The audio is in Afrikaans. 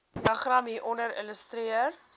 diagram hieronder illustreer